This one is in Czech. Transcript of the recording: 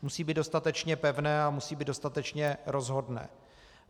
Musí být dostatečně pevné a musí být dostatečně rozhodné.